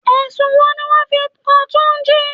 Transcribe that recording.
Ẹ̀sùn wo ni wọn fi kan túnjí?